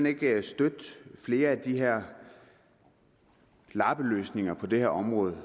ikke støtte flere af de her lappeløsninger på det her område